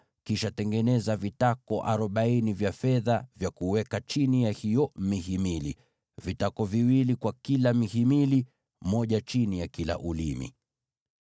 kisha tengeneza vitako arobaini vya fedha vya kuweka chini ya hiyo mihimili, vitako viwili kwa kila mhimili, kimoja chini ya kila ulimi.